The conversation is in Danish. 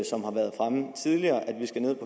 vi skal ned